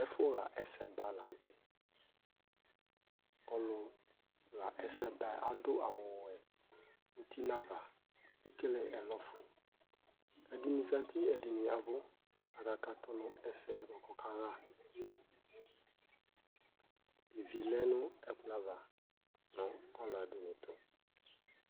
Ɛfʋɣa ɛsɛba la nʋ tɛ Ɔlʋɣa ɛsɛba yɛ adʋ awʋwɛ uti nʋ ava, ekele ɛlɔfue Ɛdɩnɩ zati, ɛdɩnɩ ya ɛvʋ kʋ akakatʋ nʋ ɛsɛ yɛ kʋ ɔkaɣa Ivi lɛ nʋ ɛkplɔ ava nʋ ɔlɔdɩnɩ tʋ